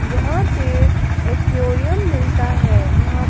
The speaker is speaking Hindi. जहां पे एक्वेरियम मिलता है वहां --